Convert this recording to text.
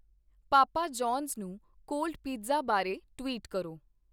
ਪਾਪਾ John's ਨੂੰ cold pizza ਬਾਰੇ tweet ਕਰੋ